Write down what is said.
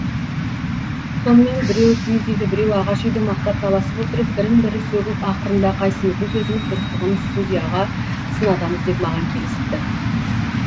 сонымен біреуі киіз үйді біреуі ағаш үйді мақтап таласып отырып бірін бірі сөгіп ақырында қайсымыздың сөзіміз дұрыстығын судияға сынатамыз деп маған келісіпті